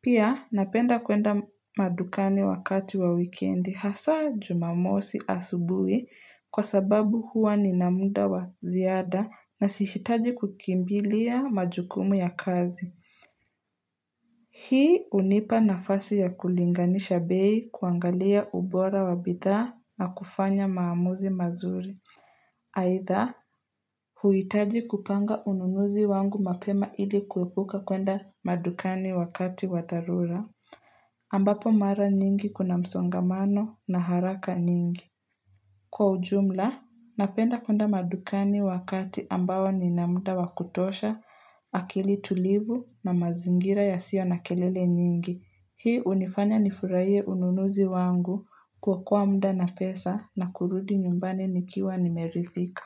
Pia napenda kuenda madukani wakati wa weekendi hasa jumamosi asubui kwa sababu huwa nina muda wa ziada na sihitaji kukimbilia majukumu ya kazi. Hii hunipa nafasi ya kulinganisha bei kuangalia ubora wa bidhaa na kufanya maamuzi mazuri. Haidha huitaji kupanga ununuzi wangu mapema ili kuepuka kwenda madukani wakati wa dharura. Ambapo mara nyingi kuna msongamano na haraka nyingi. Kwa ujumla, napenda kuenda madukani wakati ambao nina muda wakutosha, akili tulivu na mazingira ya sio na kelele nyingi. Hii hunifanya nifurahie ununuzi wangu kuokoa muda na pesa na kurudi nyumbani nikiwa nimeridhika.